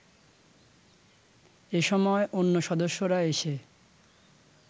এ সময় অন্য সদস্যরা এসে